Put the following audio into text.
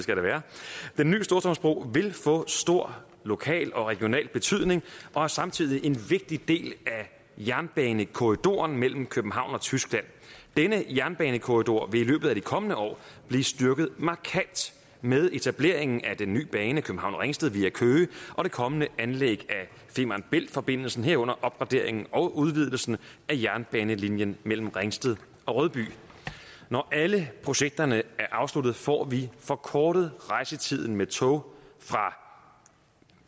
den nye storstrømsbro vil få stor lokal og regional betydning og er samtidig en vigtig del af jernbanekorridoren mellem københavn og tyskland denne jernbanekorridor vil i løbet af de kommende år blive styrket markant med etableringen af den nye bane københavn ringsted via køge og det kommende anlæg af femern bælt forbindelsen herunder opgraderingen og udvidelsen af jernbanelinjen mellem ringsted og rødby når alle projekterne er afsluttet får vi forkortet rejsetiden med tog fra